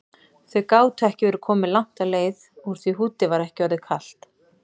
Þau gátu ekki verið komin langt á leið úr því húddið var ekki orðið kalt.